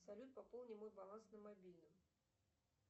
салют пополни мой баланс на мобильном